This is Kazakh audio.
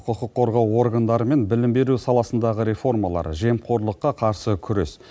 құқық қорғау органдары мен білім беру саласындағы реформалар жемқорлыққа қарсы күрес